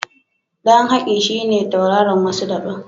Ɗan Haki shi ne tauraron wasan daɓen.